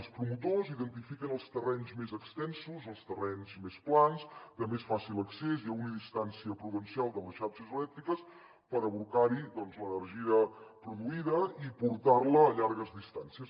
els promotors identifiquen els terrenys més extensos els terrenys més plans de més fàcil accés i a una distància prudencial de les xarxes elèctriques per abocar hi doncs l’energia produïda i portar la a llargues distàncies